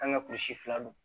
An ka kurusi fila don